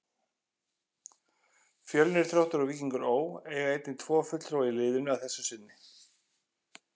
Fjölnir, Þróttur og Víkingur Ó. eiga einnig tvo fulltrúa í liðinu að þessu sinni.